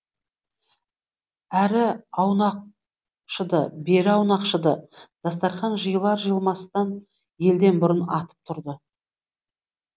әрі аунақшыды бері аунақшыды дастарқан жиылар жиылмастан елден бұрын атып тұрды